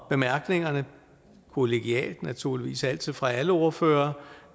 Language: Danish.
bemærkningerne kollegialt naturligvis altid fra alle ordførere